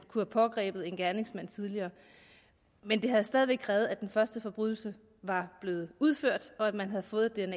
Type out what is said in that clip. kunnet pågribe gerningsmanden tidligere men det havde stadig væk krævet at den første forbrydelse var blevet udført og at man havde fået